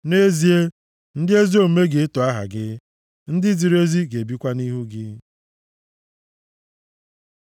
Nʼezie, ndị ezi omume ga-eto aha gị, ndị ziri ezi ga-ebikwa nʼihu gị.